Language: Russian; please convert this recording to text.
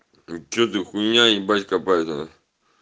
что ты хуйня ебать копать